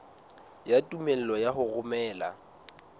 ya tumello ya ho romela